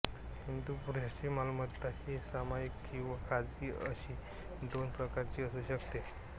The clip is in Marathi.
हिंदू पुरुषाची मालमत्ता ही सामायिक किंवा खाजगी अशी दोन प्रकारची असू शकते